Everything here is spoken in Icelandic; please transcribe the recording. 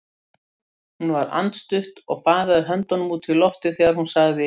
Hún var andstutt og baðaði höndunum út í loftið þegar hún sagði